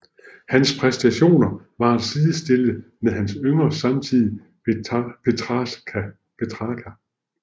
Hans præstationer var at sidestille med hans yngre samtidige Petrarca